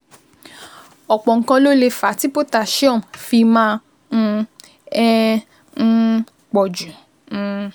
Ọ̀pọ̀ nǹkan ló lè fà á tí potassium fi máa um ń um pọ̀ jù um